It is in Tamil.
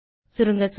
சுருங்கச்சொல்ல